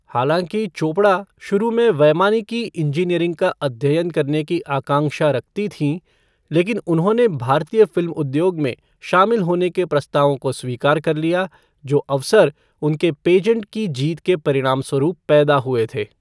हालांकि चोपड़ा शुरू में वैमानिकी इंजीनियरिंग का अध्ययन करने की आकांक्षा रखती थीं, लेकिन उन्होंने भारतीय फ़िल्म उद्योग में शामिल होने के प्रस्तावों को स्वीकार कर लिया, जो अवसर उनके पेजेंट की जीत के परिणामस्वरूप पैदा हुए थे।